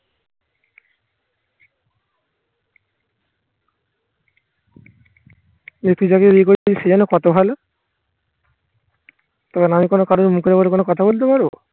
সে যেন কত ভালো তবে আমি কোনো কারোর মুখের উপর কোনো কথা বলতে পারবো